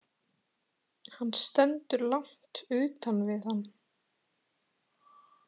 Hann stendur langt utan við hann.